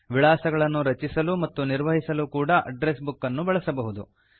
ವಿಳಾಸಗಳನ್ನು ರಚಿಸಲು ಮತ್ತು ನಿರ್ವಹಿಸಲು ಕೂಡ ಅಡ್ಡ್ರೆಸ್ ಬುಕ್ ಅನ್ನು ಬಳಸಬಹುದು